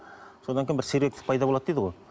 содан кейін бір сергектік пайда болады дейді ғой